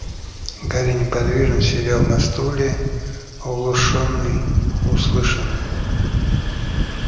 гарри неподвижно сидел на стуле оглушённый услышанным